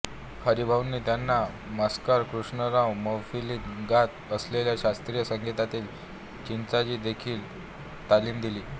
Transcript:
हरिभाऊंनी त्यांना मास्तर कृष्णराव मैफिलीत गात असलेल्या शास्त्रीय संगीतातील चिजांची देखील तालीम दिली